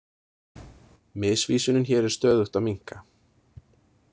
Misvísunin hér er stöðugt að minnka.